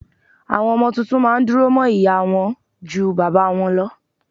Àwọn ọmọ tuntun má a ndìrọ̀ mọ́ ìyá a wọn ju bàbá a wọn lọ